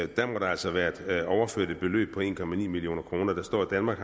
der altså være blevet overført et beløb på en million kroner der står at danmark